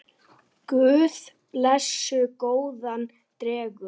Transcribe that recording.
Guð blessi góðan dreng.